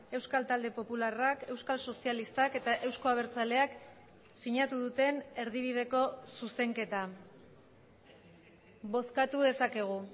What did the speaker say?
euskal talde popularrak euskal sozialistak eta eusko abertzaleak sinatu duten erdibideko zuzenketa bozkatu dezakegu